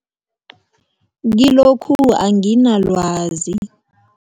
Kilokhu anginalwazi.